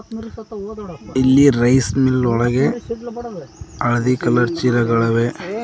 ಇಲ್ಲಿ rice mill ಒಳಗೆ ಹಳದಿ ಕಲರ್ ಚೀಲಗಳವೆ.